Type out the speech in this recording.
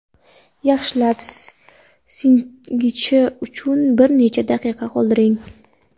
Yaxshilab singishi uchun bir necha daqiqa qoldiring.